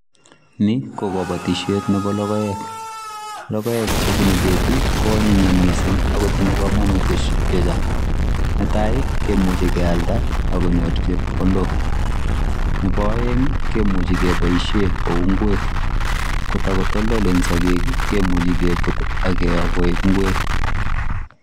Nii ko kobotishet nebo lokoek, lokoek chebunu ketii ko anyinyen mising ak ko tinye komonutik chechang, netai kimuche kealda ak konyor chepkondok, nebo oeng kimuche keboishen kouu ing'wek ko tokotoldolen sokek kimuche kebut ak kiyoo koik ing'wek.